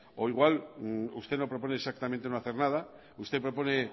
o igual usted no propone exactamente no hacer nada usted propone